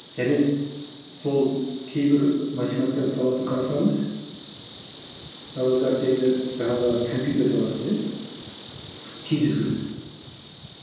және сол кейбір математиканың саласын қарасаңыз ы жаңағы компьютер саласы иә тез өзгереді